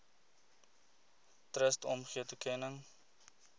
trust omgee toekenning